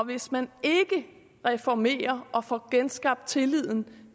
hvis man ikke reformerer og får genskabt tilliden